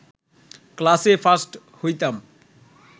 ক্লাসে ফার্স্ট হইতাম